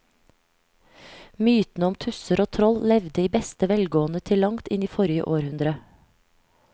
Mytene om tusser og troll levde i beste velgående til langt inn i forrige århundre.